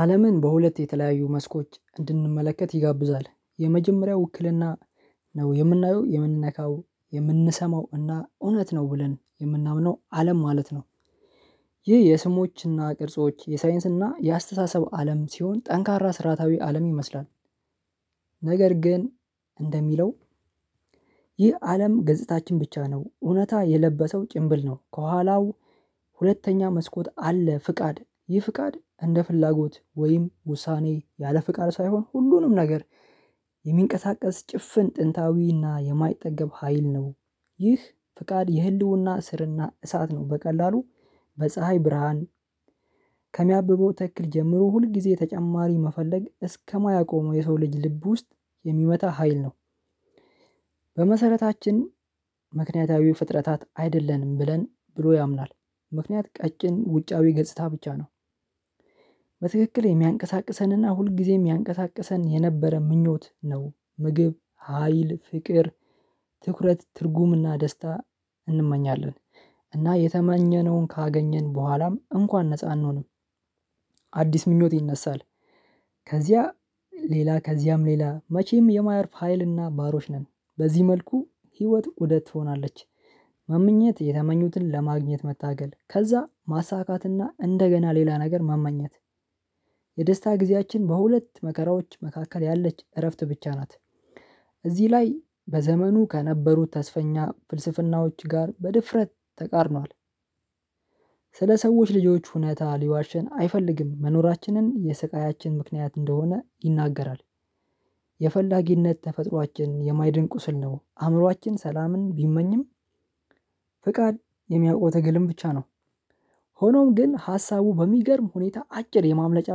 አለምን በሁለት የተለያዩ መስኮች እንድንመለከት ይጋብዛል የመጀመሪያው ውክልና ነው የምናየው የምንነካው የምንሰማው እና እውነት ነው ብለን የምናምነው አለም ማለት ነው። ይህ የስሞችና ቅርጾች የሳይንስና የአስተሳሰብ አለም ሲሆን ጠንካራ ስርአታዊ አለም ይመስላል። ነገር ግን እንደሚለው ይህ አለም ገጽታችን ብቻ ነው እውነት የለበሰው ጭንብል ነው ከኋላው ሁለተኛ መስኮት አለ። ፍቃድ ይህ ፍቃድ እንደ ፍላጎት ወይም ውሳኔ ያለ ፍቃድ ሳይሆን ሁሉንም ነገር የሚንቀሳቀስ ጭፍን ጥንታዊና የማይጠገብ ሀይል ነው። ይህ ፍቃድ የህልውና ስርና እሳት ነው። በቀላሉ በፀሀይ ብርሃን ከሚያብበው ተክል ጀምሮ ሁል ጊዜ ተጨማሪ መፈለግ እስከማያቆመው የሰው ልጅ ልብ ውስጥ የሚመታ ሀይል ነው። በመሰረታችን ምክንያታዊ ፍጥረታት አይደለንም ብለን ብሎ ያምናል። ምክንያት ቀጭን ውጫዊ ገጽታ ብቻ ነው። በትክክል የሚያንቀሳቅሰንና ሁልጊዜም የሚያንቀሳቅሰን የነበረ ምኞት ነው። ምግብ ሀይል ፍቅር ትኩረት ትርጉምና ደስታ እንመኛለን እና የተማኘነውን ካገኘን በኋላም እንኳን ነፃ አንሆንም። አዲስ ምኞት ይነሳል። ከዚያ ሌላ ከዚያም ሌላ መቼም የማያርፍ ሀይልና ባሮች ነን በዚህ መልኩ ህይወት ኡደት ትሆናለች። ማምኘት የተመኙትን ለማግኘት መታገል ከዛ ማሳካትና እንደገና ሌላ ነገር ማማኘት። የደስታ ጊዜያችን በሁለት መከራዎች መካከል ያለች እረፍት ብቻ ናት። እዚህ ላይ በዘመኑ ከነበሩት ተስፈኛ ፍልስፍናዎች ጋር በድፍረት ተቃርኗል። ስለ ሰዎች ልጆች ሁኔታ ሊዋሸን አይፈልግም መኖራችንን የስቃያችን ምክንያት እንደሆነ ይናገራል። የፈላጊነት ተፈጥሮአችን የማይድን ቁስል ነው አእምሮአችን ሰላምን ቢመኝም። ፍቃድ የሚያውቀው ትግልም ብቻ ነው። ሆኖም ግን ሀሳቡ በሚገርም ሁኔታ አጭር የማምለጫ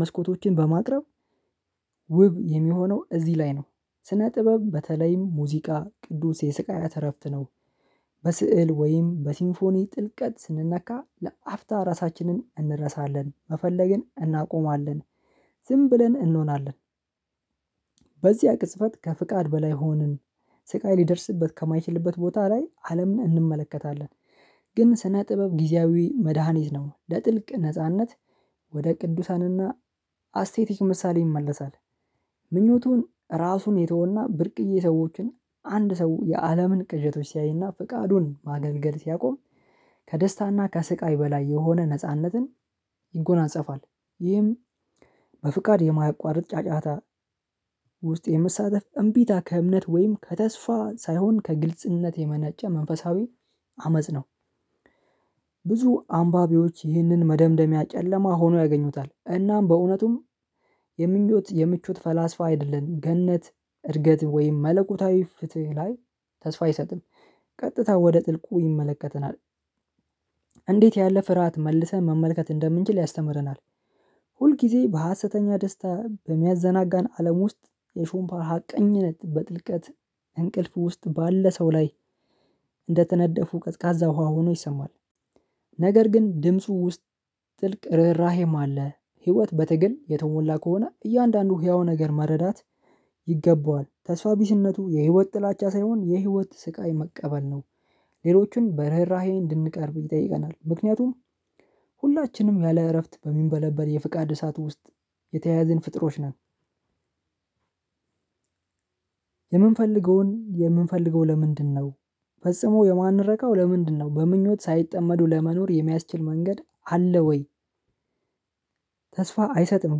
መስኮቶችን በማቅረብ ውብ የሚሆነው እዚህ ላይ ነው። ስነ ጥበብ በተለይም ሙዚቃ ቅዱስ የስቃይ አተረፍት ነው። በስዕል ወይም በሲንፎኒ ጥልቀት ስንነካ ለአፍታ ራሳችንን እንረሳለን መፈለግን እናቆማለን። ዝም ብለን እንሆናለን። በዚህ አቅጽበት ከፍቃድ በላይ ሆንን። ስቃይ ሊደርስበት ከማይችልበት ቦታ ላይ አለምን እንመለከታለን። ግን ስነ ጥበብ ጊዜያዊ መድሃኒት ነው። ለጥልቅ ነጻነት ወደ ቅዱሳንና አስቴቲክ ምሳሌ ይመለሳል። ምኞቱን ራሱን የተወና ብርቅዬ ሰዎችን አንድ ሰው የአለምን ቅዠቶች ሲያይና ፍቃዱን ማገልገል ሲያቆም ከደስታና ከስቃይ በላይ የሆነ ነጻነትን ይጎናጸፋል። ይህም በፍቃድ የማያቋርጥ ጫጫታ ውስጥ የመሳተፍ እምቢታ ከእምነት ወይም ከተስፋ ሳይሆን ከግልጽነት የመነጨ መንፈሳዊ አመጽ ነው። ብዙ አንባቢዎች ይህንን መደምደሚያ ጨለማ ሆኖ ያገኙታል እናም በእውነቱም የምኞት የምቾት ፈላስፋ አይደለንም ገነት እርገት ወይም መለኮታዊ ፍትህ ላይ ተስፋ ይሰጥል ቀጥታ ወደ ጥልቁ ይመለከተናል። እንዴት ያለ ፍርሃት መልሰን መመልከት እንደምንችል ያስተምረናል። ሁልጊዜ በሀሰተኛ ደስታ በሚያዘናጋን አለም ውስጥ የሹምባ ሀቀኝነት በጥልቀት እንቅልፍ ውስጥ ባለ ሰው ላይ እንደተነደፉ ቀዝቃዛ ውሃ ሆኖ ይሰማል። ነገር ግን ድምፁ ውስጥ ጥልቅ ርህራሄም አለ። ህይወት በትግል የተሞላ ከሆነ እያንዳንዱን ህያው ነገር መረዳት ይገባዋል ተስፋ ቢስነቱ የህይወት ጥላቻ ሳይሆን የህይወት ስቃይ መቀበል ነው። ሌሎችን በርህራሄ እንድንቀርብ ይጠይቀናል ምክንያቱም ሁላችንም ያለ እረፍት በሚንበለበት የፍቃድ እሳት ውስጥ የተያያዝን ፍጥሮች ነን። የምንፈልገውን የምንፈልገው ለምንድነው? ፈጽሞ የማንረካው ለምንድነው? በምኞት ሳይጠመዱ ለመኖር የሚያስችል መንገድ አለ ወይ? ተስፋ አይሰጥም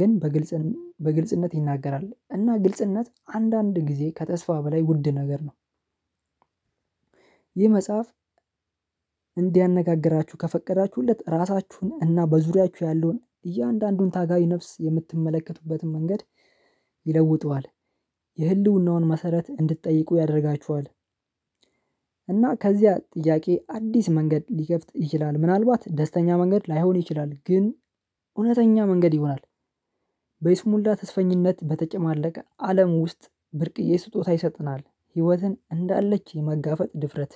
ግን በግልጽ በግልጽነት ይናገራል እና ግልጽነት አንዳንድ ጊዜ ከተስፋ በላይ ውድ ነገር ነው። ይህ መጽሐፍ እንዲያነጋግራችሁ ከፈቀዳችሁለት ራሳችሁን እና በዙሪያችሁ ያለውን እያንዳንዱን ታጋይ ነፍስ የምትመለከቱበትን መንገድ ይለውጠዋል። የህልውናውን መሰረት እንድትጠይቁ ያደርጋችኋል። እና ከዚያ ጥያቄ አዲስ መንገድ ሊከፍት ይችላል ምናልባት ደስተኛ መንገድ ላይሆን ይችላል ግን እውነተኛ መንገድ ይሆናል። በይስሙላ ተስፈኝነት በተጨማለቀ አለም ውስጥ ብርቅዬ ስጦታ ይሰጥናል ህይወትን እንዳለች የመጋፈጥ ድፍረት